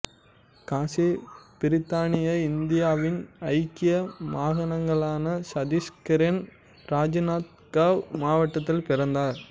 காசி பிரித்தானிய இந்தியாவின் ஐக்கிய மாகாணங்களான சத்தீஸ்கரின் ராஜ்நாந்துகாவ் மாவட்டத்தில் பிறந்தார்